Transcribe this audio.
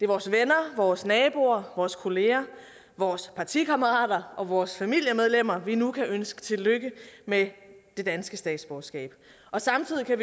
vores venner vores naboer vores kolleger vores partikammerater og vores familiemedlemmer vi nu kan ønske tillykke med det danske statsborgerskab samtidig kan